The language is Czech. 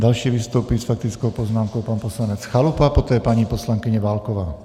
Další vystoupí s faktickou poznámkou pan poslanec Chalupa, poté paní poslankyně Válková.